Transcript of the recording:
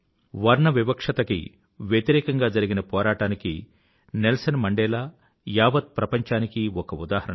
వర్ణవివక్ష కి వ్యతిరేకంగా జరిగిన పోరాటానికి నెల్సన్ మండేలా యావత్ ప్రపంచానికీ ఒక ఉదాహరణ